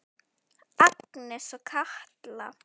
Agnes og Katla.